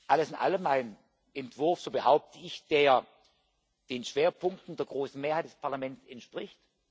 Alles in allem ein Entwurf so behaupte ich der den Schwerpunkten der großen Mehrheit des Parlaments entspricht.